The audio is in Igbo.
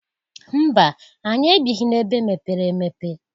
Mba! Anyị ebighi n'ebe mepere emepe.